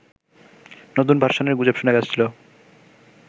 নতুন ভার্সনের গুজব শোনা যাচ্ছিল